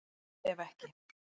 Ef ekki